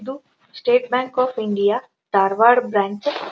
ಎದು State Bank of India Dharwad branch --